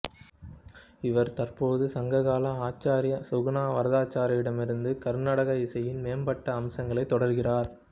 இவர் தற்போது சங்க கால ஆச்சார்யா சுகுணா வரதாச்சாரியிடமிருந்து கருநாடக இசையின் மேம்பட்ட அம்சங்களைத் தொடர்கிறார்